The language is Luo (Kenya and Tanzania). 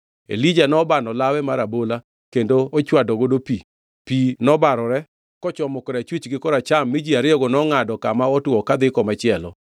Elija nobano lawe mar abola kendo ochwadogo pi, pi nobarore kochomo korachwich gi koracham mi ji ariyogo nongʼado kama otwo kadhi komachielo.